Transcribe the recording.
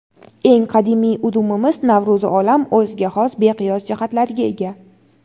eng qadimiy udumimiz–Navro‘zi olam o‘ziga xos beqiyos jihatlariga ega.